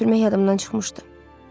Açar götürmək yadımdan çıxmışdı.